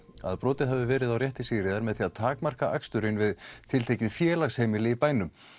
að brotið hafi verið á rétti Sigríðar með því að takmarka aksturinn við tiltekið félagsheimili í bænum